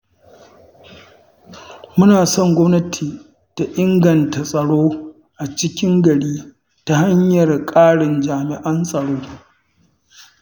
Muna son gwamnati ta inganta tsaro a cikin gari ta hanyar ƙarin jami'an tsaro.